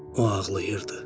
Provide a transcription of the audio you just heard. O ağlayırdı.